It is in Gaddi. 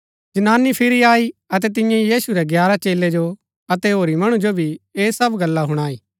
जनानी फिरी आई अतै तियें यीशु रै ग्यारह चेलै जो अतै होरी मणु जो भी ऐह सब गल्ला हुणाई